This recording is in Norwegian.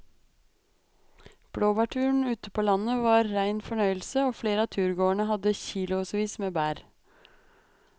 Blåbærturen ute på landet var en rein fornøyelse og flere av turgåerene hadde kilosvis med bær.